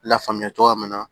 Lafaamuya cogoya min na